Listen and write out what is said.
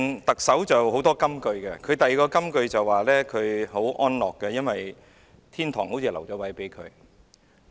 特首"林鄭"有很多金句，她另一句金句是說她很安樂，因為天堂已留位給她。